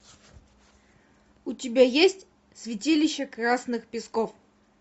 у тебя есть святилище красных песков